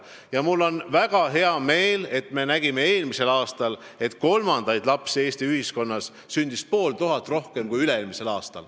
Ja mul on väga hea meel, et me nägime eelmisel aastal, et kolmandaid lapsi sündis Eestis pool tuhat rohkem kui üle-eelmisel aastal.